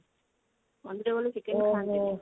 ମନ୍ଦିର ଗଲେ chicken ଖାଆନ୍ତିନି